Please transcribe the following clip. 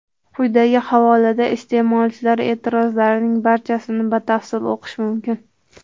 Quyidagi havolada iste’molchilar e’tirozlarning barchasini batafsil o‘qish mumkin.